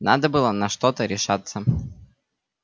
надо было на что-то решаться